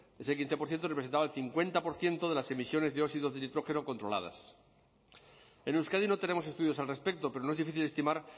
ese quince por ciento representaba el cincuenta por ciento de las emisiones de dióxido de nitrógeno controladas en euskadi no tenemos estudios al respecto pero no es difícil estimar